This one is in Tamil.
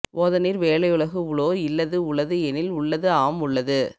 ஓதநீர் வேலையுலகு உளோர் இல்லது உளது எனில் உள்ளது ஆம் உள்ளது